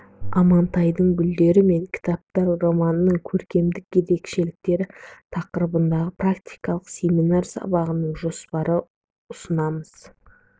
амантайдың гүлдер мен кітаптар романының көркемдік ерекшеліктері тақырыбындағы практикалық семинар сабағының жоспарын ұсынамыз